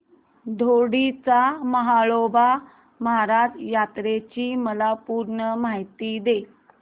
दोडी च्या म्हाळोबा महाराज यात्रेची मला पूर्ण माहिती दे